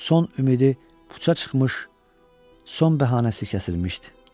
Son ümidi puça çıxmış, son bəhanəsi kəsilmişdi.